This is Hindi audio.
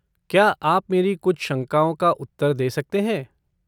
क्या आप मेरी कुछ शंकाओं का उत्तर दे सकते हैं?